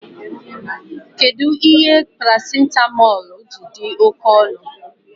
Kedụ ihe paracitamọl ji dị oké ọnụ